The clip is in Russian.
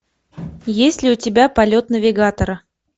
есть ли у тебя полет навигатора